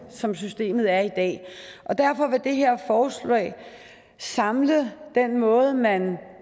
som systemet er i dag derfor vil det her forslag samle den måde man